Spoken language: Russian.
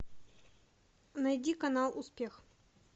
найди канал успех